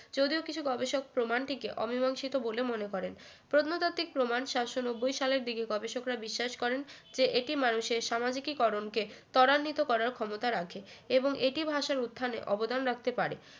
যদিও কিছু গবেষক প্রমাণটিকে অমীমাংসিত বলে মনে করেন প্রত্নতাত্ত্বিক প্রমাণ সাতশো নব্বই সালের দিকে গবেষকরা বিশ্বাস করেন যে এটি মানুষের সামাজিকীকরণ কে ত্বরান্বিত করার ক্ষমতা রাখে এবং এটি ভাষার উত্থানে অবদান রাখতে পারে